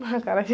Acarajé.